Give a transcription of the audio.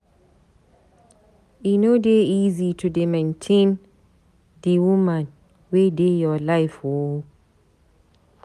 E no dey easy to dey maintain di woman wey dey your life o.